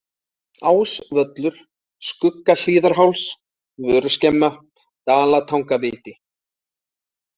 Ás-Völlur, Skuggahlíðarháls, Vöruskemma, Dalatangaviti